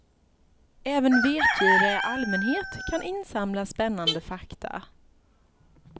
Även vetgiriga i allmänhet kan insamla spännande fakta.